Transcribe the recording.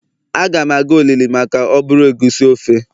Agam aga olili maka oburu egusi ofe